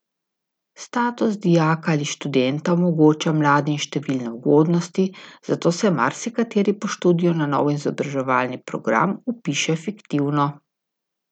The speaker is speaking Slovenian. Status dijaka ali študenta omogoča mladim številne ugodnosti, zato se marsikateri po študiju na nov izobraževalni program vpiše fiktivno.